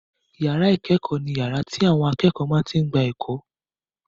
Ìyàrá ìkẹ́kọ̀ọ́ ni yàrá tí àwọn akẹ́kọ̀ọ́ máa tí n gba ẹ̀kọ́